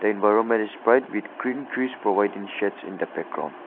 The environment is bright with green trees providing shades in the background